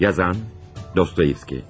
Yazan: Dostoyevski.